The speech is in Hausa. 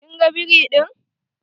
Kin ga biri ɗin?